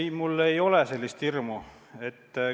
Ei, mul ei ole sellist hirmu.